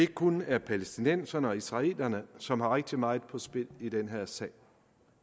kun er palæstinenserne og israelerne som har rigtig meget på spil i den her sag